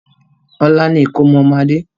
Ọlá ni ìkómọ ọmọ Adé